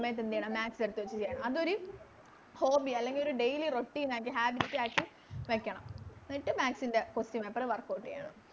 സമയത്ത് എന്തെയ്യണം Maths എടുത്ത് വെച്ച് ചെയ്യണം അതോര് Hobby അല്ലെങ്ങിലോര് Daily routine ആക്കി Habit ആക്കി വെക്കണം എന്നിട്ട് Maths ൻറെ Question paper workout ചെയ്യണം